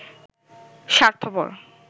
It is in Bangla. স্বার্থপর